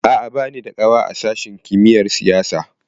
A'a, ba ni da ƙawa a sashin kimiyar siyasa.